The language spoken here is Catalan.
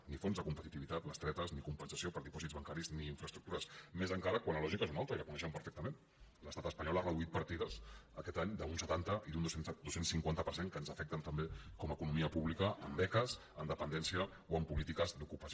ni fons de competitivitat bestretes ni compensació per dipòsits bancaris ni infraestructures més encara quan la lògica és una altra i la coneixement perfectament l’estat espanyol ha reduït partides aquest any d’un setanta i d’un dos cents i cinquanta per cent que ens afecten també com a economia pública en beques en dependència o en polítiques d’ocupació